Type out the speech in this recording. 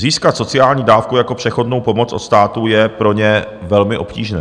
Získat sociální dávku jako přechodnou pomoc od státu je pro ně velmi obtížné.